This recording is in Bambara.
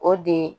O de